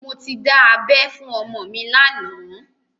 Mo ti dá abẹ́ fún ọmọ mi lánàá